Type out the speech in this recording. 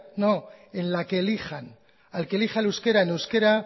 no en la que elijan al que elija el euskera en euskera